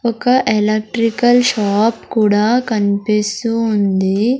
ఒక electrical shop కూడా కనిపిస్తూ ఉంది.